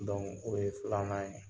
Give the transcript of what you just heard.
o ye filanan ye